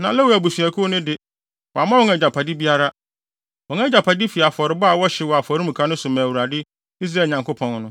Na Lewi abusuakuw no de, wamma wɔn agyapade biara. Wɔn agyapade fi afɔrebɔde a wɔhyew wɔ afɔremuka so ma Awurade, Israel Nyankopɔn no.